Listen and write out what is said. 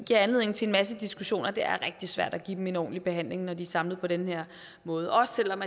giver anledning til en masse diskussioner det er rigtig svært at give dem en ordentlig behandling når de er samlet på den her måde også selv om